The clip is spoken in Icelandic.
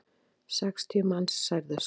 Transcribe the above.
Sextíu manns særðust.